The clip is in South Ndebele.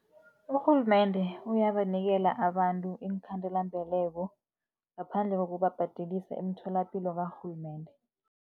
Urhulumende uyabanikela abantu iinkhandela-mbeleko, ngaphandle kokubabhadelisa emtholapilo karhulumende.